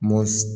Mɔ